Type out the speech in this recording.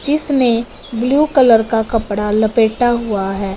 जिसने blue colour का कपड़ा लपेट हुआ है।